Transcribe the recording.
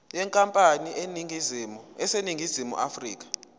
yenkampani eseningizimu afrika